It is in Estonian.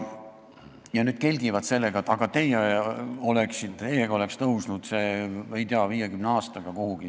Nüüd nad kelgivad sellega, et aga teie valitsedes oleks see maksuvaba miinimum tõusnud, ei tea, 50 aastaga kuhugi.